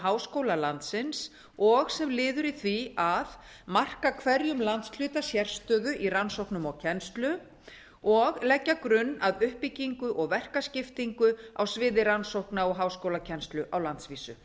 háskóla landsins og sem liður í því að marka hverjum landshluta sérstöðu í rannsóknum og kennslu og leggja grunn að uppbyggingu og verkaskiptingu á sviði rannsókna og háskólakennslu á landsvísu